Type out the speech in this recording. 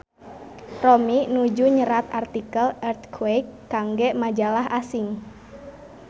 Romi nuju nyerat artikel Earthquake kangge majalah asing